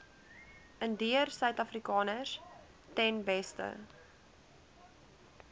indiërsuidafrikaners ten beste